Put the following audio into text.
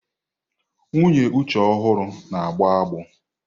Nwunye Uche ọhụrụ na-agbọ agbọ.